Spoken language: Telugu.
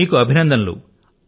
ఇంకా మీకు కూడాను అభినందనలు